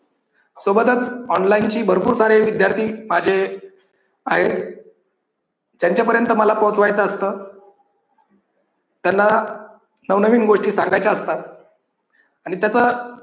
सोबतच online ची भरपूर सारे विद्यार्थी माझे आहेत. त्यांच्यापर्यंत मला पोहोचवायचं असतं. त्यांना नवनवीन गोष्टी सांगायच्या असतात आणि त्याच